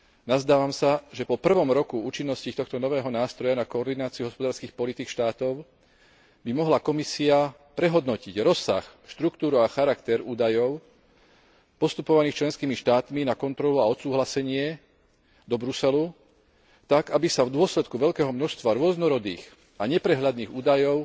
Nazdávam sa, že po prvom roku účinnosti tohto nového nástroja na koordináciu hospodárskych politík štátov by mohla Komisia prehodnotiť rozsah, štruktúru a charakter údajov postupovaných členskými štátmi na kontrolu a odsúhlasenie do Bruselu tak, aby sa v dôsledku veľkého množstva rôznorodých a neprehľadných údajov